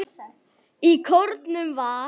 Í kórnum var